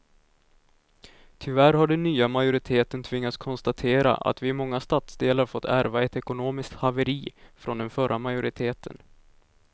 Tyvärr har den nya majoriteten tvingats konstatera att vi i många stadsdelar fått ärva ett ekonomiskt haveri från den förra majoriteten.